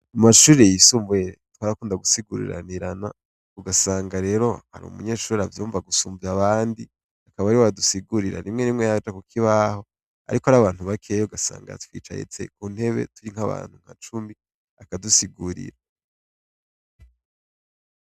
Mu mashure yisumbuye twarakunda gusiguriranirana, ugasanga rero hari umunyeshure avyumva gusumvya abandi, akaba ariwe adusigurira. Rimwe rimwe yaraja ku kibaho ariko ari abantu bakeyi ugasanga yatwicaritse ku ntebe turi nk'abantu nka cumi, akadusigurira.